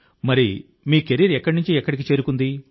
మరి మీ కెరీర్ ఎక్కడి నుంచి ఎక్కడికి చేరుకుంది